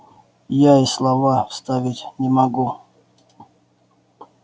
я и слова вставить не могу